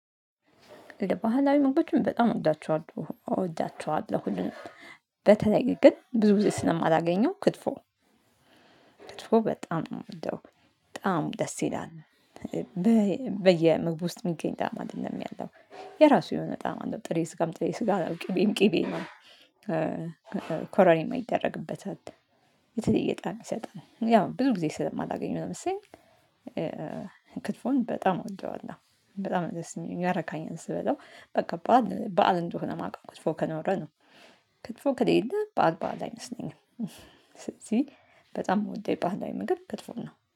ባህላዊ ምግቦችም በጣም እወዳቸዋለሁ እወዳቸዋለሁ ሁሉንም በተለይ ግን ብዙ ጊዜ ስለማላገኘው ክትፎ ክትፎ በጣም ነው የምወደው በጣም ደስ ይላል። በየምግቡ ውስጥ የሚገኝ ጣዕም አይደለም ያለው የራሱ የሆነ ጣዕም አለው ጥሬ ስጋም ጥሬ ስጋ ነው ቂቤም ቂቤም ነው። ኮረሪማ ይደረግበታል አት የተለየ ጣዕም ይሰጣል ያው ብዙ ጊዜ ስለማላገኘው ለምሳሌ። ክትፎን በጣም እወደዋለሁ በጣም ነው ደስ ሚለኝ ያረረካኛል ስበላው በቃ በዓል በዓል እንደሆነ የማውቀው ክትፎ ከኖረ ነው። ክትፎ ከሌለ በዓል በዓል አይመስለኝም። ስለዚህ በጣም የምወደው ባህላዊ ምግብ ክትፎን ነው